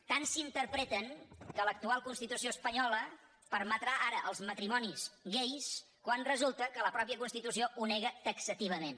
tant s’interpreten que l’actual constitució espanyola permetrà ara els matrimonis gais quan resulta que la mateixa constitució ho nega taxativament